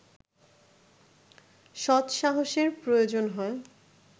সৎসাহসের প্রয়োজন হয়